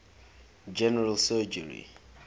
general surgery